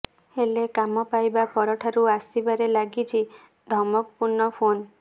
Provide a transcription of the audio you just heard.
ହେଲେ କାମ ପାଇବା ପରଠାରୁ ଆସିବାରେ ଲାଗିଛି ଧମକପୂର୍ଣ୍ଣ ଫୋନ୍